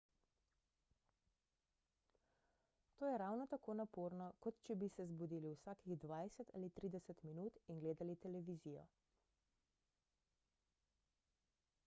to je ravno tako naporno kot če bi se zbudili vsakih dvajset ali trideset minut in gledali televizijo